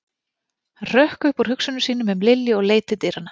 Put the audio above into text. Hann hrökk upp úr hugsunum sínum um Lilju og leit til dyranna.